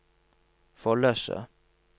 Follese